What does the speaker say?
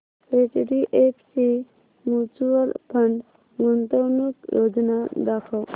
HDFC mutual fund गुंतवणूक योजना दाखव